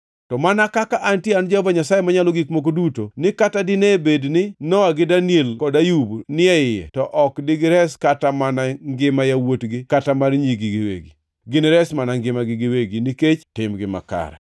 to mana kaka antie an Jehova Nyasaye Manyalo Gik Moko Duto ni kata dine bed ni Nowa gi Daniel kod Ayub ni e iye, to ok digires kata mana ngima yawuotgi kata mar nyigi giwegi. Ginires mana ngimagi giwegi nikech timgi makare.